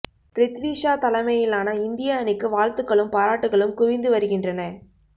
பிரித்வி ஷா தலைமையிலான இந்திய அணிக்கு வாழ்த்துக்களும் பாராட்டுக்களும் குவிந்து வருகின்றன